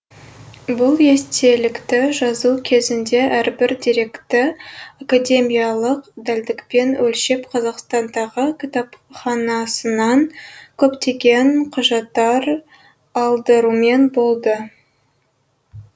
бұл естелікті жазу кезінде әрбір деректі академиялық дәлдікпен өлшеп қазақстандағы кітапханасынан көптеген құжаттар алдырумен болды